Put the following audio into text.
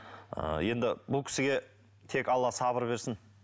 ыыы енді бұл кісіге тек алла сабыр берсін